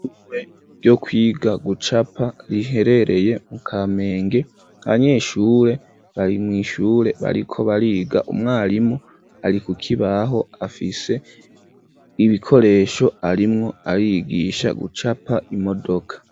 Ishure ryo kwiga gucapa riherereye mu Kamenge abanyeshure bari mw'ishure bariko bariga umwarimu ari kukibaho afise ibikoresho arimwo arigisha gucapa imodoka.